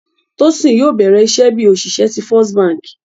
Tosin yóò bẹ̀rẹ̀ iṣẹ̀ bí oṣìṣẹ̀ tí First Bánkì.